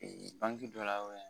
Ee banki dɔ la